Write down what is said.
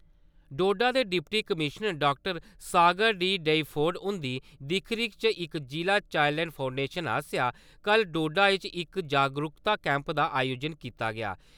डोडा दे deputy commissioner डॉ. Sagar D. Doifode हुन्दी दिक्ख-रिक्ख इच जिला चाईल्ड लाइन फोनडेशन आस्सेआ कल डोडा इच इक जागरूकता कैंप दा आयोजन कीता गेआ।